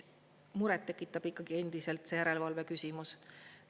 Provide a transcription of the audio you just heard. Muret tekitab ikkagi endiselt see järelevalve küsimus.